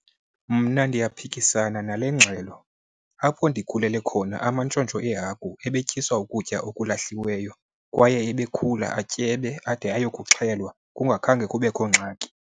Mna ndiyaphikisana nale ngxelo. Apho ndikhulele khona amantshontsho eehagu ebetyiswa ukutya okulahliweyo, kwaye ebekhula atyebe, ade ayokuxhelwa kungakhange kubekho ngxaki.